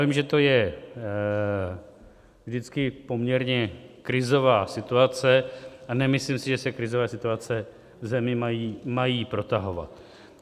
Vím, že to je vždycky poměrně krizová situace, a nemyslím si, že se krizové situace v zemi mají protahovat.